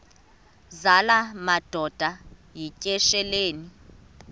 zala madoda yityesheleni